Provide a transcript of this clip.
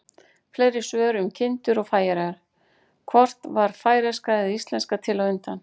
Fleiri svör um kindur og Færeyjar: Hvort varð færeyska eða íslenska til á undan?